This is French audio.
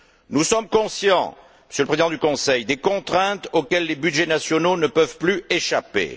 Nous sommes conscients, Monsieur le Président du Conseil, des contraintes auxquelles les budgets nationaux ne peuvent plus échapper.